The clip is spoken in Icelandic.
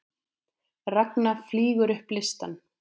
Ragna flýgur upp listann